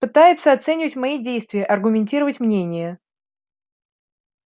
пытается оценивать свои действия аргументировать мнение